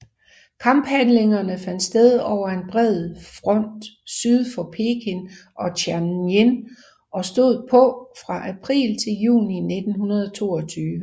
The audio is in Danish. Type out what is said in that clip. Kamphandlingerne fandt sted over en bred fromt syd for Peking og Tianjin og stod på fra april til juni 1922